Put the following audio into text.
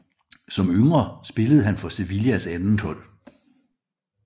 Som yngre spillede han for Sevillas andethold